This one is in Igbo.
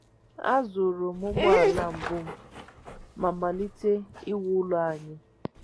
A zụrụ m ụgbọala mbụ m ma malite iwu ụlọ anyị